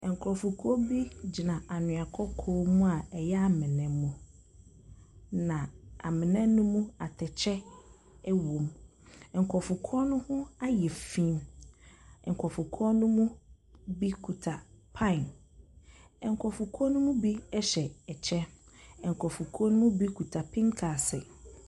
Nkurɔfoɔ bi gyina anwea kɔkɔɔ mu a ɛyɛ amena mu. Na amena no mu atɛkyɛ wɔ mu. Nkurɔfo korɔ no ho ayɛ fi. Nkurɔfo korɔ no mu bi kuta pipe. Nkurɔfo korɔ no mu bi hyɛ akyɛ. Nkurɔfo korɔ no mu bi kita pinkase.